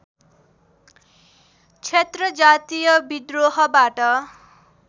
क्षेत्र जातीय बिद्रोहबाट